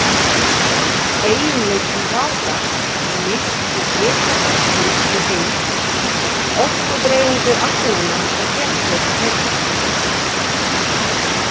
Eiginleikum rafgass er lýst með hita gassins í heild, orkudreifingu agnanna og þéttleika þeirra.